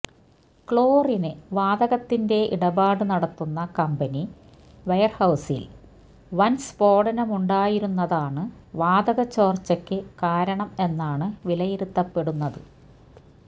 ക്ലോറിന് വാതകത്തിന്റെ ഇടപാട് നടത്തുന്ന കമ്പനി വെയര്ഹൌസില് വന് സ്ഫോടനമുണ്ടായിരുന്നതാണ് വാതക ചോർച്ചയ്ക്ക് കാരണം എന്നാണു വിലയിരുത്തപ്പെടുന്നത്